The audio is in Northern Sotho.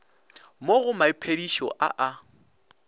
mo go maiphedišo a a